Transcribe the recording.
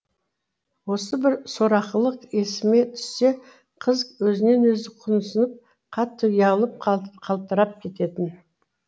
осы бір сорақылық есіме түссе қыз өзінен өзі құнысып қатты ұялып қалтырап кететін